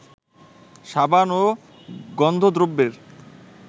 সাবান ও গন্ধদ্রব্যের